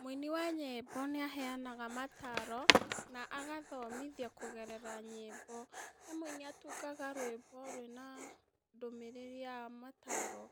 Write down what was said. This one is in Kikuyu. Mũini wa nyĩmbo nĩaheanaga mataro na agathomithia kũgerera nyĩmbo he mũini atungaga nyĩmbo rwĩna ndũmĩrĩri ya mataro